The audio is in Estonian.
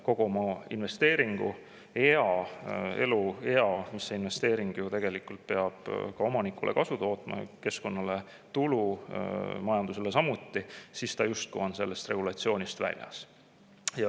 Kogu selle investeeringu eluea, kui investeering peab tootma omanikule kasu, keskkonnale tulu, majandusele samuti, on see justkui sellest regulatsioonist väljas.